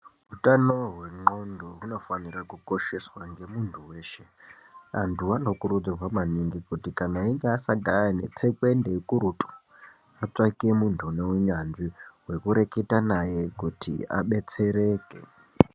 Utano hwendxondo hunofanira kukosheswa nemuntu weshe antu anokurudzirwa maningi kuti kana einge asangane netsekwende atsvake muntu wekureketa naye kuti abetsereke.